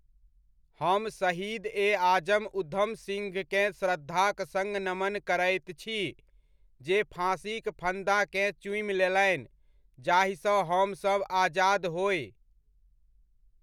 हम शहीद ए आजम उधम सिंहकेँ श्रद्धाक सङ्ग नमन करैत छी, जे फाँसीक फन्दाकेँ चूमि लेलनि, जाहिसँ हमसभ आजाद होय।